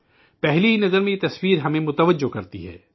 پہلی ہی نظر یہ تصویر ہمیں اپنی جانب متوجہ کرتی ہے